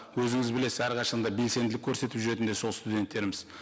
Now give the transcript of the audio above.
өзіңіз білесіз әрқашан да белсенділік көрсетіп жүретіндер сол студенттеріміз